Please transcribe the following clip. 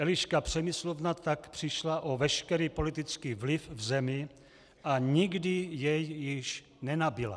Eliška Přemyslovna tak přišla o veškerý politický vliv v zemi a nikdy jej již nenabyla.